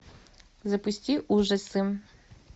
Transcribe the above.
запусти ужасы